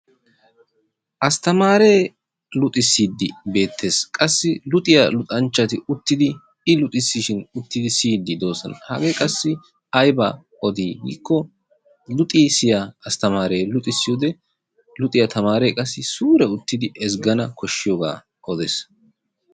Astamaree luxxisiidi beettees. qassi luxxanchchati uttidi i luxisishiin uttidi siyiidi de'oosona. hagee qassi aybaa odii giikko luxxisiyaa astamree luxxisiyoode luxxiyaa tamaree qassi suure uttidi ezggana koshiyoogaa odees.